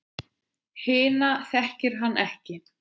Hina þekkir hann ekki.